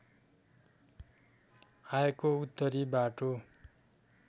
आएको उत्तरी बाटो